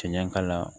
Cɛncɛn kala